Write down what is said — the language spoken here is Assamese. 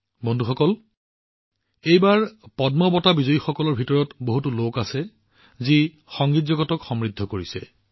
বন্ধুসকল এইবাৰ পদ্ম বঁটাৰে সন্মানিত হোৱা সকলৰ মাজত সংগীত জগতক সমৃদ্ধ কৰা বহুলোক আছে